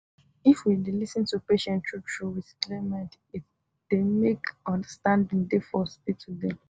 if we dey lis ten to patient true true with clear mind it dey make understanding dey for hospital dem